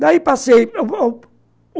Daí passei